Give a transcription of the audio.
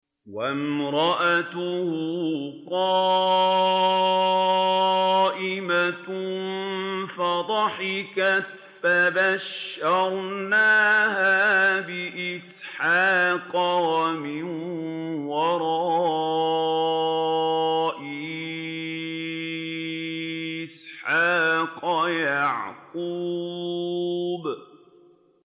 وَامْرَأَتُهُ قَائِمَةٌ فَضَحِكَتْ فَبَشَّرْنَاهَا بِإِسْحَاقَ وَمِن وَرَاءِ إِسْحَاقَ يَعْقُوبَ